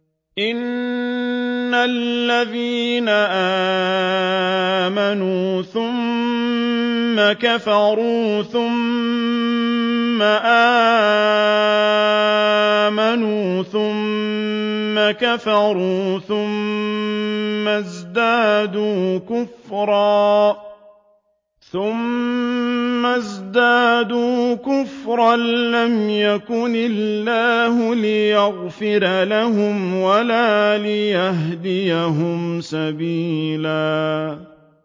إِنَّ الَّذِينَ آمَنُوا ثُمَّ كَفَرُوا ثُمَّ آمَنُوا ثُمَّ كَفَرُوا ثُمَّ ازْدَادُوا كُفْرًا لَّمْ يَكُنِ اللَّهُ لِيَغْفِرَ لَهُمْ وَلَا لِيَهْدِيَهُمْ سَبِيلًا